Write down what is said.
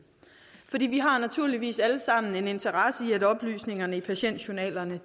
vi har naturligvis alle sammen en interesse i at oplysningerne i patientjournalerne